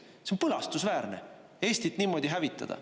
See on põlastusväärne Eestit niimoodi hävitada.